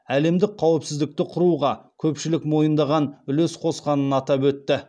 әлемдік қауіпсіздікті құруға көпшілік мойындаған үлес қосқанын атап өтті